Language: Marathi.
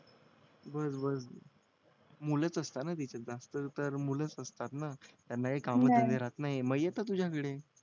बस बस मुलंच असता ना तिथे जास्त तर मुलंच असतात ना त्यांना काई काम धंदे मग येतो तुझ्याकडे